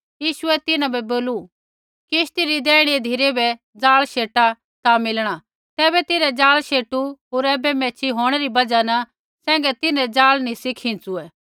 यीशुऐ तिन्हां बै बोलू किश्ती री दैईणी धिरै बै जाल शेटा ता मिलणा तैबै तिन्हैं जाल शेटू होर ऐबै मैच्छ़ी होंणै री बजहा सैंघै तिन्हरै जाल निसा खिंचुई